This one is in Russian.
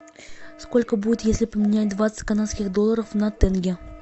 сколько будет если поменять двадцать канадских долларов на тенге